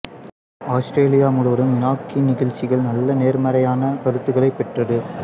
Australia முழுவதும் மினாகின் நிகழ்ச்சிகள் நல்ல நேர்மறையான கருத்துகளைப் பெற்றது